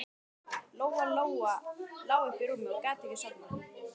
Lóa Lóa lá uppi í rúmi og gat ekki sofnað.